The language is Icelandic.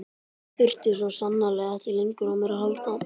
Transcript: Hún þurfti svo sannarlega ekki lengur á mér að halda.